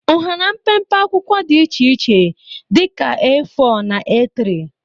Ụhara mpempe akwụkwọ dị iche iche dị ka A4 na A3.